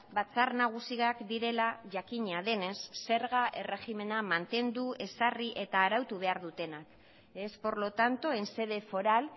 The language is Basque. batzar nagusiak direla jakina denez zerga erregimena mantendu ezarri eta arautu behar dutenak es por lo tanto en sede foral